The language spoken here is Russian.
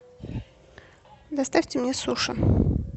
доставьте мне суши